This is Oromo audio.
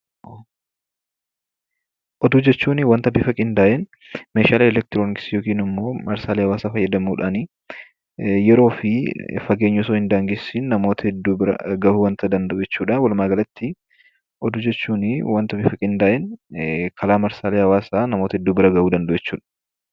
Oduu jechuun wanta qindaa'ee meeshaalee elektirooniksii marsaalee hawwaasummaa fayyadamuun yeroo fi fageenyaan osoo hin daangeffamin nama bira kan ga'uu dha. Walumaa galatti oduu jechuun bifa qindaa'een karaa marsaalee hawwaasaa namoota hedduu bira kan ga'uu danda'u jechuudha.